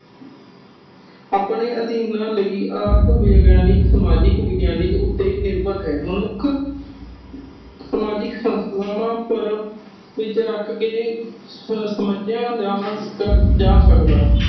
ਆਪਣੇ ਅਦੀਨ ਲਈ ਆਪ ਵਿਗਿਆਨਿਕ ਸਮਾਜਿਕ ਵਿਗਿਆਨਿਕ ਉੱਤੇ ਨਿਰਬਰ ਹੈ। ਮਨੁੱਖ ਸਮਾਜਿਕ ਸੰਸਥਾਵਾਂ ਉਪਰ ਵਿਸ਼ੇ ਰੱਖ ਕੇ ਸਮਸਿਆ ਦਾ ਜਾਣ ਸਕਦਾ